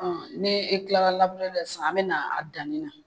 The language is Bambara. Ni e kilara labureli la sisan an bɛ na a danni na,